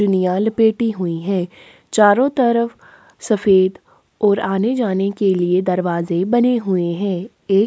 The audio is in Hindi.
जुनियाल पेटी हुई है चारो तरफ सफेद ओर आने-जाने के लिए दरवाजे बने हुए है एक--